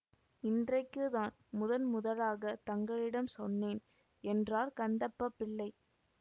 இன்றைக்குத்தான் முதன் முதலாகத் தங்களிடம் சொன்னேன் என்றார் கந்தப்பப் பிள்ளை